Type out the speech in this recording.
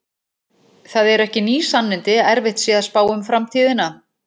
Það eru ekki ný sannindi að erfitt sé að spá um framtíðina.